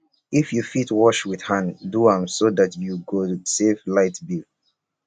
if yu fit wash wit hand do am so dat yu go save light bill